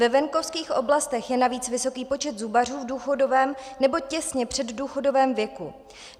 Ve venkovských oblastech je navíc vysoký počet zubařů v důchodovém nebo těsně předdůchodovém věku.